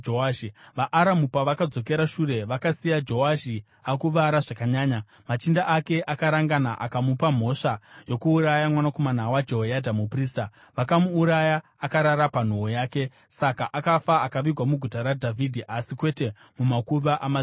VaAramu pavakazodzokera shure vakasiya Joashi akuvara zvakanyanya. Machinda ake akarangana akamupa mhosva yokuuraya mwanakomana waJehoyadha muprista, vakamuuraya akarara panhoo yake. Saka akafa akavigwa muGuta raDhavhidhi, asi kwete mumakuva amadzimambo.